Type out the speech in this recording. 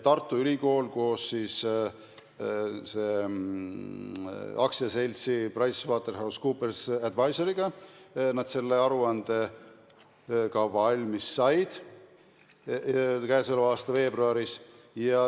Tartu Ülikooli ja AS-i PricewaterhouseCoopers Advisors koostöös sai see aruanne valmis k.a veebruaris.